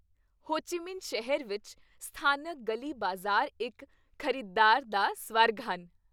ਹੋ Chi Minh ਸ਼ਹਿਰ ਵਿੱਚ ਸਥਾਨਕ ਗਲੀ ਬਾਜ਼ਾਰ ਇੱਕ ਖ਼ਰੀਦਦਾਰ ਦਾ ਸਵਰਗ ਹਨ।